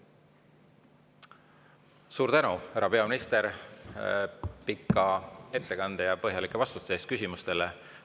Suur tänu, härra peaminister, pika ettekande ja põhjalike vastuste eest küsimustele!